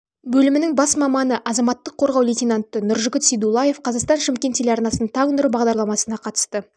бөлімінің бас маманы азаматтық қорғау лейтенанты нұржігіт сейдуллаев қазақстан шымкент телеарнасының таң нұры бағдарламасына қатысты